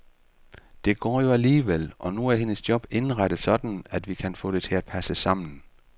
Det går jo alligevel, og nu er hendes job indrettet sådan, at vi kan få det til at passe sammen.